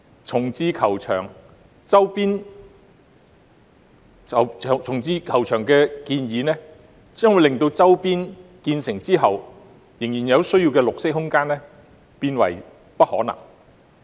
重置球場的建議一經落實，將會令周邊地區所需的綠色空間變為不可能。